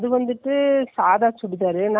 full gown மாதிரி தைக்குறதுக்கு அந்த போடி color ல.